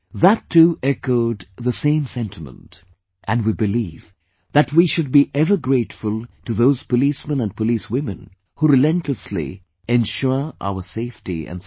That too echoed the same sentiment, and we believe that we should be ever grateful to those policemen & police women, who relentlessly ensure our safety & security